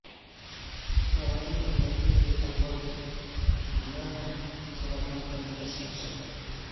خواتین اور لڑکیوں کے اغواء کی گمراہ کن خبر عام کرنے کا شاخسانہ